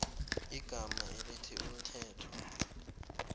igama elithi umthetho